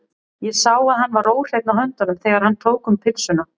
Ég sá að hann var óhreinn á höndunum, þegar hann tók um pylsuna.